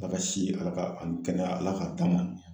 Ala ka si ni Ala ka ani kɛnɛya Ala k'a d'an ma